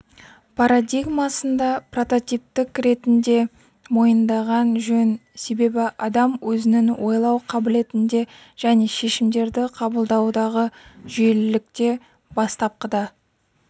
парадигмасында прототиптік ретінде мойындаған жөн себебі адам өзінің ойлау қабілетінде және шешімдерді қабылдаудағы жүйелілікте бастапқыда